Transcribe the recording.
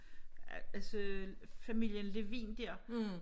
Altså familien Levin der